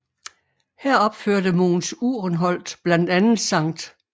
Her opførte Mogens Uhrenholt blandt andet Skt